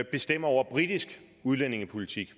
bestemmer over britisk udlændingepolitik i